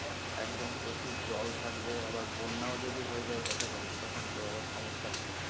একদম প্রচুর জল থাকবে আবার বন্যাও যদি হয়ে যাই দেখা গেলো তখন তো আবার সম্যসা হয়ে যাবে